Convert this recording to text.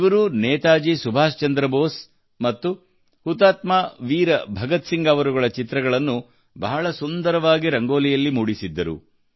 ಇವರು ನೇತಾಜಿ ಸುಭಾಷ್ ಚಂದ್ರ ಬೋಸ್ ಮತ್ತು ಹುತಾತ್ಮ ವೀರ ಭಗತ್ ಸಿಂಗ್ ಅವರುಗಳ ಚಿತ್ರಗಳನ್ನು ಬಹಳ ಸುಂದರವಾಗಿ ರಂಗೋಲಿಯಲ್ಲಿ ಮೂಡಿಸಿದ್ದರು